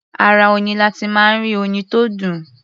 Ara oyin la ti máa ń rí oyin tó dùn.